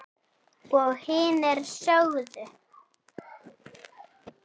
Og hinir sögðu